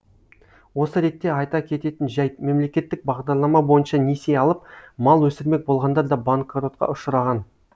осы ретте айта кететін жайт мемлекеттік бағдарлама бойынша несие алып мал өсірмек болғандар да банкротқа ұшыраған